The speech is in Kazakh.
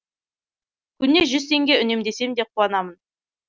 күніне жүз теңге үнемдесем де қуанамын